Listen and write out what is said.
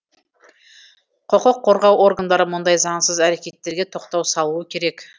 құқық қорғау органдары мұндай заңсыз әрекеттерге тоқтау салуы керек